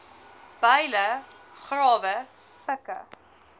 byle grawe pikke